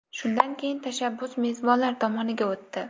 Shundan keyin tashabbus mezbonlar tomoniga o‘tdi.